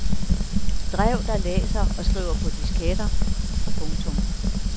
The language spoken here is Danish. Drev der læser og skriver på disketter. punktum